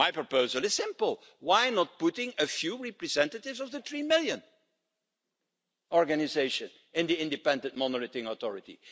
My proposal is simple why not put a few representatives of the 3million organisation in the Independent Monitoring Authority?